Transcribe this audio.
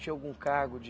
Tinha algum cargo de...